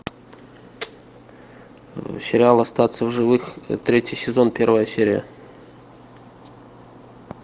сериал остаться в живых третий сезон первая серия